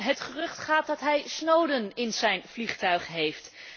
Het gerucht gaat dat hij Snowden in zijn vliegtuig heeft.